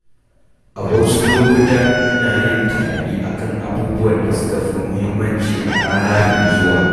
A wasu lokuta, ina yin tunani a kan abubuwan da suka fi muhimmanci a rana mai zuwa.